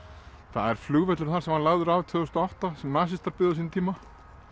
það er flugvöllur þar sem var lagður af tvö þúsund og átta sem nasistar byggðu á sínum tíma